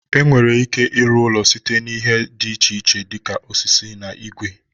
E nwere ike ịrụ ụlọ site n'ihe dị iche iche dịka osisi na igwe.